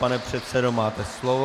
Pane předsedo, máte slovo.